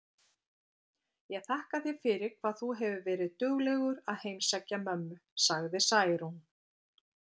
Ég þakka þér fyrir hvað þú hefur verið duglegur að heimsækja mömmu, sagði Særún.